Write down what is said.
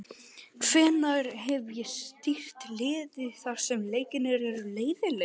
Hvenær hef ég stýrt liði þar sem leikirnir eru leiðinlegir?